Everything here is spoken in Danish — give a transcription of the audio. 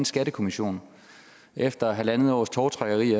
skattekommission efter halvandet års tovtrækkeri